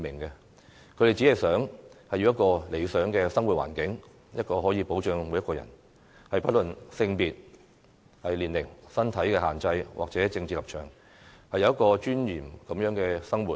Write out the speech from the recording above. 他們只想要一個理想的生活環境，確保每一個人，不論性別、年齡、身體限制或政治立場，均可有尊嚴地生活。